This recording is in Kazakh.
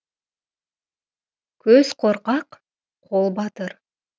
көз қорқақ қол батыр